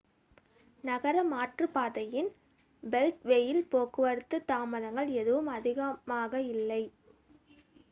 நகர மாற்றுப்பாதையின் பெல்ட்வேயில் போக்குவரத்து தாமதங்கள் எதுவும் அதிகமாக இல்லை